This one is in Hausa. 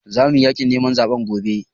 Za muyi yaƙin neman zaɓe gobe